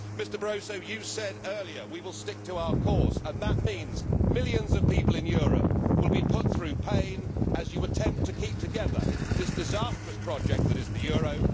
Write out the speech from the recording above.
Mr Barroso, you said earlier that we will stick to our course, and that means millions of people in Europe will be put through pain as you attempt to keep together this disastrous project that is the euro.